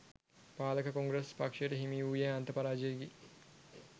පාලක කොංග්‍රස් පක්ෂයට හිමි වූයේ අන්ත පරාජයකි